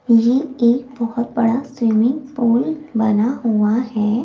यह एक बहुत बड़ा स्विमिंग पूल बना हुआ है।